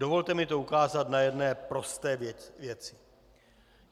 Dovolte mi to ukázat na jedné prosté věci.